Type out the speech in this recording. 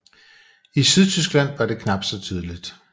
I Sydtyskland var det knap så tydeligt